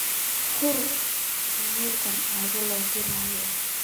fur iimaylka abo lo dirayo